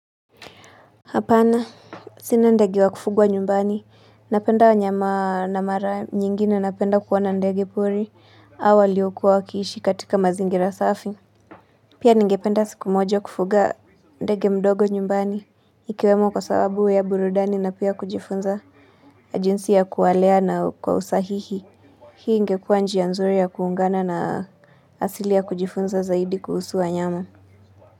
Hapana, sina ndege wa kufugwa nyumbani, napenda wanyama na mara nyingine napenda kuwaona ndege pori, au waliokuwa wakiishi katika mazingira safi. Pia ningependa siku moja kufuga ndege mdogo nyumbani, ikiwemo kwa sababu ya burudani na pia kujifunza jinsi ya kuwalea na kwa usahihi. Hii ingekuwa njia nzuri ya kuungana na asili ya kujifunza zaidi kuhusu wanyama.